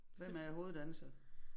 Hvem er hoveddanser